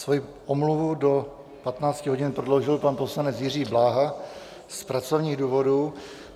Svoji omluvu do 15 hodin prodloužil pan poslanec Jiří Bláha z pracovních důvodů.